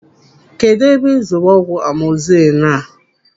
Kedụ ebe ị zụrụ ọgwụ amọzisilin a?